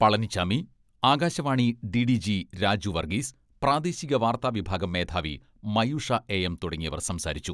Palaniswami, Akashvani DDG Raju Varghese, പ്രാദേശിക വാർത്താ വിഭാഗം മേധാവി മയൂഷ എ.എം തുടങ്ങിയവർ സംസാരിച്ചു.